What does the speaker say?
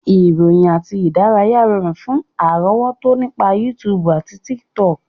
Ìròyìn àti ìdárayá rọrùn fún àrọ́wọ́tọ́ nípa YouTube àti Tiktok